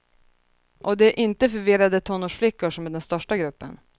Och det är inte förvirrade tonårsflickor som är den största gruppen.